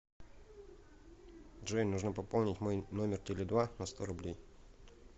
джой нужно пополнить мой номер теле два на сто рублей